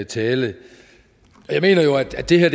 tale jeg mener jo at det her